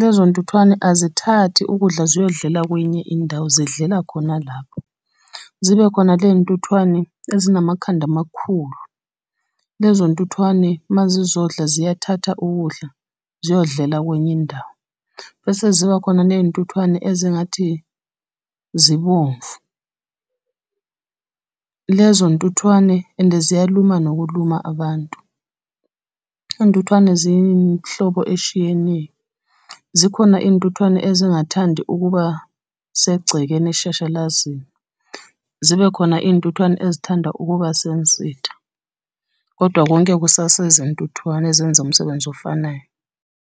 Lezo ntuthwane azithathi ukudla ziyodlela kwenye indawo, zidlela khona lapho. Zibe khona ley'ntuthwane ezinamakhanda amakhulu, lezo ntuthwane uma zizodla ziyathatha ukudla ziyodlela kwenye indawo. Bese zibakhona ney'ntuthwane ezingathi zibomvu. Lezo ntuthwane and ziyaluma nokuluma abantu. Iy'ntuthwane zinhlobo eshiyenile, zikhona iy'ntuthwane ezingathandi ukuba segcekeni eshashalazini, zibe khona iy'ntuthwane ezithanda ukuba . Kodwa konke kusasezi ntuthwane ezenza umsebenzi ofanayo.